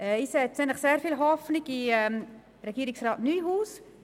Ich setze grosse Hoffnung in Regierungsrat Neuhaus.